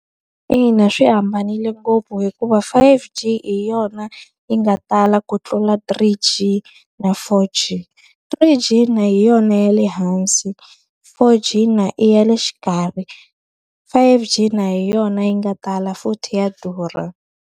Ina swi hambanile ngopfu hikuva five G hi yona yi nga tala ku tlula three G na four G. Three G na hi yona ya le hansi, four G na i ya le xikarhi. Five G na hi yona yi nga tala futhi ya durha.